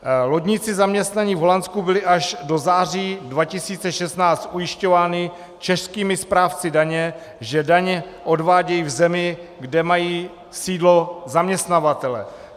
Lodníci zaměstnaní v Holandsku byli až do září 2016 ujišťováni českými správci daně, že daně odvádějí v zemi, kde mají sídlo zaměstnavatelé.